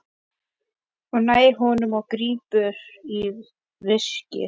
Hún nær honum og grípur í veskið.